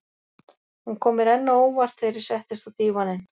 Hún kom mér enn á óvart þegar ég settist á dívaninn.